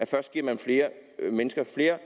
først giver mennesker flere